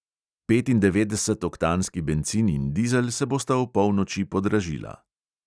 Petindevetdesetoktanski bencin in dizel se bosta opolnoči podražila.